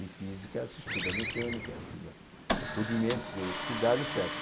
Em física se estuda mecânica, se estuda rudimentos, eletricidade, et cétera.